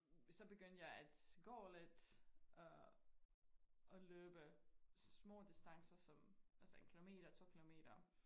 Så begyndte jeg at gå lidt og og løbe små distancer som altså 1 kilometer 2 kilometer